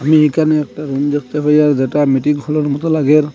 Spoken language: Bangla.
এখানে একটা রুম দেখতে পাই আর যেটা মিটিংঘরের মতো লাগে।